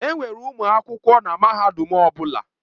Enwere ụmụ akwụkwọ na mahadum ọ bụla.